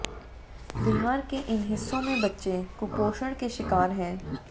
बिहार के इन हिस्सों में बच्चे कुपोषण के शिकार हैं